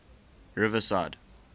riverside